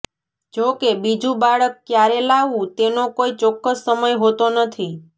જો કે બીજું બાળક ક્યારે લાવવું તેનો કોઈ ચોક્કસ સમય હોતો નથી